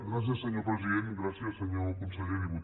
gràcies senyor president gràcies senyor conseller diputats i diputades